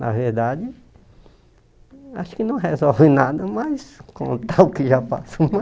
Na verdade, acho que não resolve nada mais contar o que já passou.